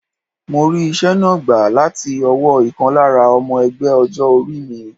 Mo rí ìṣe náà gbà láti ọwọ́ ìkan lára ọmọ ẹgbẹ́ ọjọ́ orí mi.